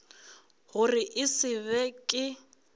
gore e se be ke